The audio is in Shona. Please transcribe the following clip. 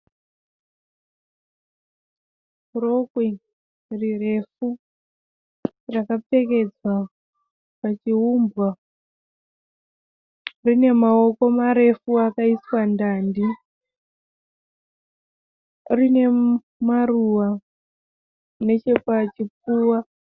Rokwe rirefu rakapfekedzwa pachiumbwa. Rine maoko marefu akaiswa ndandi. Rine maruva nechepachipfuva.